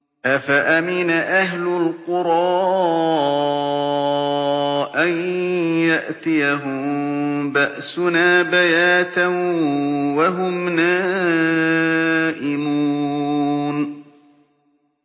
أَفَأَمِنَ أَهْلُ الْقُرَىٰ أَن يَأْتِيَهُم بَأْسُنَا بَيَاتًا وَهُمْ نَائِمُونَ